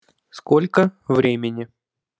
сколько времени